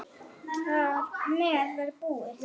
Þar með var það búið.